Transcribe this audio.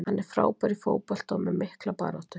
Hann er frábær í fótbolta og með mikla baráttu.